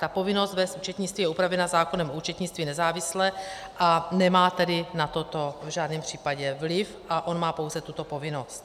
Ta povinnost vést účetnictví je upravena zákonem o účetnictví nezávisle, a nemá tedy na toto v žádném případě vliv a on má pouze tuto povinnost.